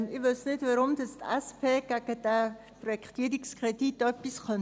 Ich wüsste nicht, warum die SP etwas gegen diesen Projektierungskredit haben könnte.